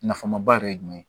Nafama ba yɛrɛ ye jumɛn ye